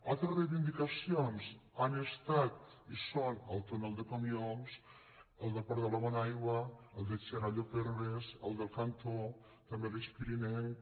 altres reivindicacions han estat i són el túnel de comiols el del port de la bonaigua el de xerallo perves el del cantó també l’eix pirinenc